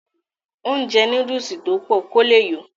ó jẹ́ núdùsì tó pọ̀ kó le yó